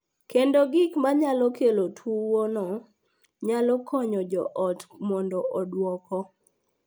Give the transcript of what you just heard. Kendo gik ma nyalo kelo tuwono nyalo konyo jo ot mondo odwoko